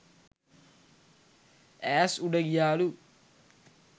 ඈස් උඩ ගියාලු.